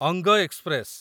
ଅଙ୍ଗ ଏକ୍ସପ୍ରେସ